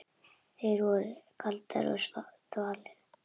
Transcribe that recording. Þær voru kaldar og þvalar.